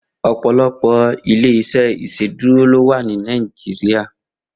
Opọlọpọ ilé iṣè Iṣédùró lò wà ni Nàijiriá